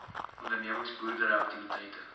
ondernemings boerdery aktiwiteite